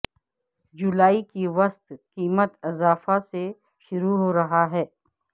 جولائی کے وسط قیمت اضافہ سے شروع ہو رہا ہے